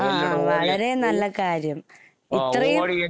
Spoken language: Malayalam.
ആ വളരെ നല്ല കാര്യം ഇത്രേം